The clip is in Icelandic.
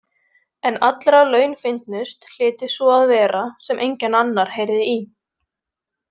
En allra launfyndnust hlyti sú að vera sem enginn annar heyrði í.